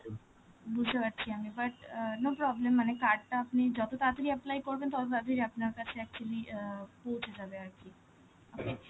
বুঝতে পারছি আমি but, অ্যাঁ no problem, মানে card টা আপনি যত তাড়াতাড়ি apply করবেন, কত তাড়াতাড়ি আপনার কাছে actually অ্যাঁ পৌঁছে যাবে আর কি. আপনি,